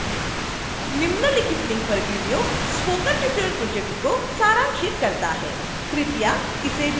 निम्नलिखित link पर video spoken tutorial project को सारांशित करता है